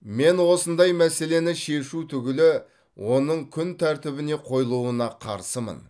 мен осындай мәселені шешу түгілі оның күн тәртібіне қойылуына қарсымын